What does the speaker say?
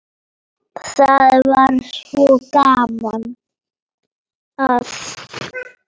Það var svo gaman að